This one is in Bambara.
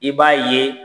I b'a ye